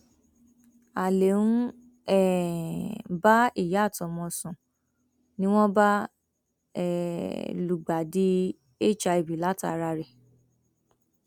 alẹ ń um bá ìyá àtọmọ sùn ni wọn bá um lùgbàdì hiv látara rẹ